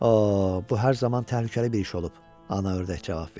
Oh, bu hər zaman təhlükəli bir iş olub, Ana Ördək cavab verdi.